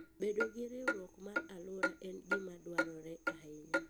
Bedo gi riwruok mar alwora en gima dwarore ahinya.